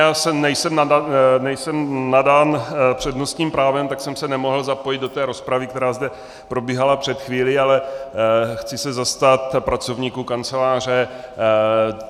Já nejsem nadán přednostním právem, tak jsem se nemohl zapojit do té rozpravy, která zde probíhala před chvílí, ale chci se zastat pracovníků Kanceláře.